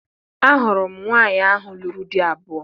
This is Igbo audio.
Ahụrụ m nwaanyị ahụ lụrụ di abụọ